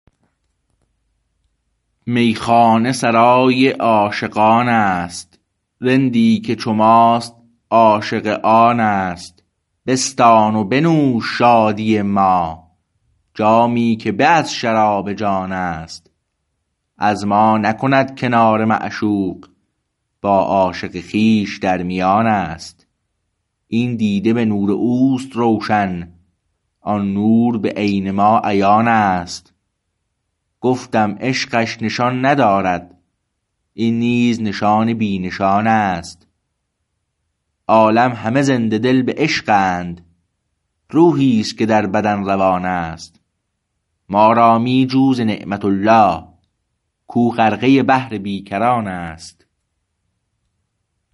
میخانه سرای عاشقان است رندی که چو ماست عاشق آن است بستان و بنوش شادی ما جامی که به از شراب جان است از ما نکند کناره معشوق با عاشق خویش در میان است این دیده به نور اوست روشن آن نور به عین ما عیان است گفتم عشقش نشان ندارد این نیز نشان بی نشان است عالم همه زنده دل به عشق اند روحی است که در بدن روان است ما را می جو ز نعمت الله کو غرقه بحر بی کران است